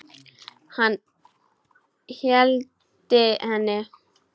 Hann hældi henni.